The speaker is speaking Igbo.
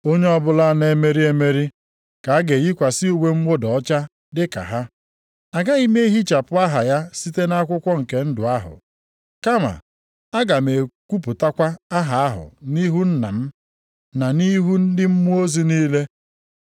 Onye ọbụla na-emeri emeri, ka a ga-eyikwasị uwe mwụda ọcha dịka ha. Agaghị m ehichapụ aha ya site nʼakwụkwọ nke ndụ ahụ, kama aga m ekwupụtakwa aha ahụ nʼihu Nna m na nʼihu ndị mmụọ ozi niile.